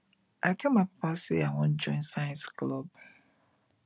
i tell my papa say i i wan join science club